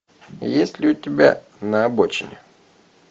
есть ли у тебя на обочине